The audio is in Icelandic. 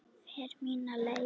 Fer mína leið.